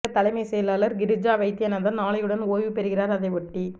தமிழக தலைமை செயலாளர் கிரிஜா வைத்தியநாதன் நாளையுடன் ஓய்வு பெறுகிறார் அதை ஒட்டி